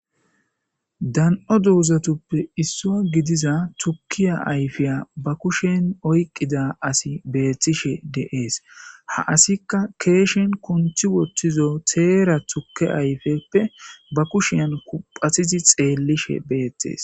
Dan'o doozatuppe issua gidiza tukkiya ayfeya ba kushen oyqqida asi beethtishe deees ha asikka keeshen konthi wottizo teera tukke ayfeppe ba kushen kuphatizi xeellishe beettees.